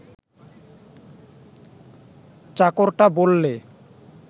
চাকরটা বললে